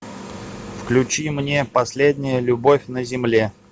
включи мне последняя любовь на земле